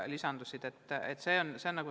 Lisandus 20 lasteaeda.